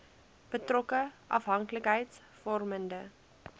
betrokke afhanklikheids vormende